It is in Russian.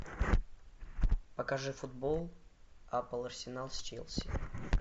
покажи футбол апл арсенал с челси